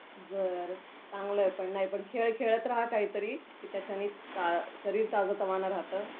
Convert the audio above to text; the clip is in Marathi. बरं, चांगलं आहे पण. खेळ खेळत राहा काहीतरी, की त्याच्याने शरीर ताजंतवानं राहतं.आणि मनही.